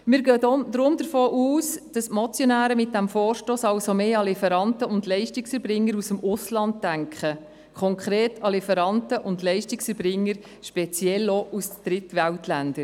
Wir gehen deshalb davon aus, dass die Motionäre mit diesem Vorstoss mehr an Lieferanten und Leistungserbringer aus dem Ausland denken – konkret an Lieferanten und Leistungserbringer speziell auch aus Drittweltländern.